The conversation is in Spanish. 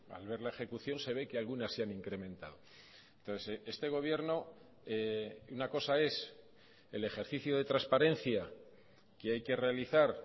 al ver la ejecución se ve que algunas se han incrementado entonces este gobierno una cosa es el ejercicio de transparencia que hay que realizar